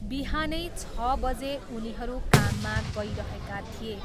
बिहानै छ बजे उनीहरू काममा गइरहेका थिए।